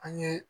An ye